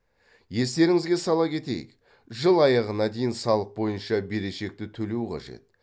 естеріңізге сала кетейік жыл аяғына дейін салық бойынша берешекті төлеу қажет